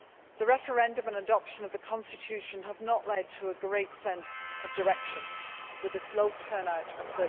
The referendum and adoption of the constitution have not led to a great sense of direction, with a low turnout of